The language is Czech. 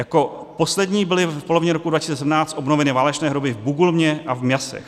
Jako poslední byly v polovině roku 2017 obnoveny válečné hroby v Bugulmě a v Miassech.